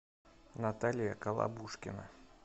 наталья калабушкина